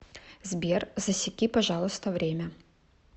сбер засеки пожалуйста время